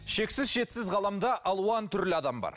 шексіз шетсіз ғаламда алуан түрлі адам бар